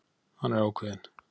Hann er ákveðinn.